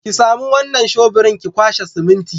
Ki sami wannan shobirin ki kwashe siminti.